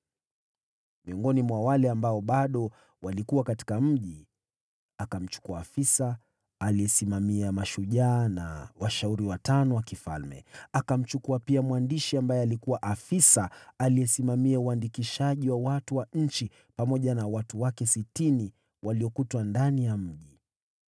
Miongoni mwa wale watu waliokuwa wamesalia katika mji, alimchukua afisa kiongozi wa wapiganaji, na washauri watano wa mfalme. Akamchukua pia mwandishi aliyesimamia uandikishaji wa watu wa nchi, pamoja na watu wake sitini waliopatikana ndani ya mji.